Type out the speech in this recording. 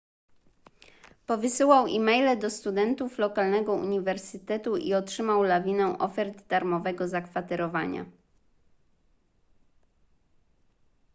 powysyłał e-maile do studentów lokalnego uniwersytetu i otrzymał lawinę ofert darmowego zakwaterowania